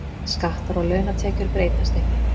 Skattar á launatekjur breytast ekki